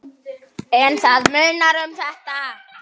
En það munar um þetta.